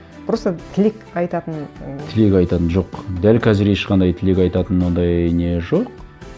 просто тілек айтатын ыыы тілек айтатын жоқ дәл қазір ешқандай тілек айтатын ондай не жоқ